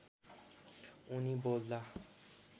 उनी बोल्दा